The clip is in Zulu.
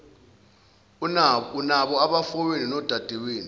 unabo abafowenu nodadewenu